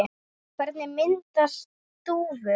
Hvernig myndast þúfur?